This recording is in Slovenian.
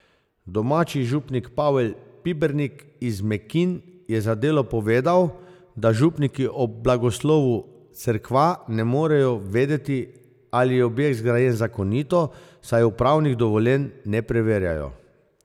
Domači župnik Pavel Pibernik iz Mekinj je za Delo povedal, da župniki ob blagoslovu cerkva ne morejo vedeti, ali je objekt zgrajen zakonito, saj upravnih dovoljenj ne preverjajo.